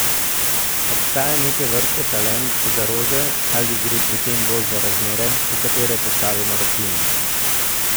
Obstaja neke vrste talent za rože ali gre pri tem bolj za razmere, v katere postavimo rastlino?